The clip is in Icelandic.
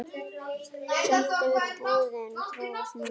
Samt hefur búðin þróast mikið.